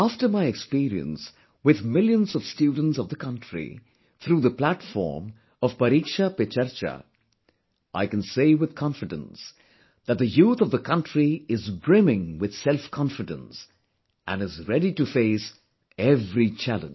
After my experience with millions of students of the country through the platform of 'Pariksha Pe Charcha', I can say with confidence that the youth of the country is brimming with selfconfidence and is ready to face every challenge